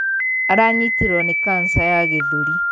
Aranyitirwo nī kanja ya gīthūri.